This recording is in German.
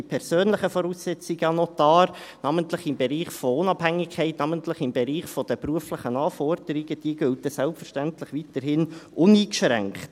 Die persönlichen Voraussetzungen an den Notar, namentlich im Bereich der Unabhängigkeit, namentlich im Bereich der beruflichen Anforderungen, gelten selbstverständlich weiterhin uneingeschränkt.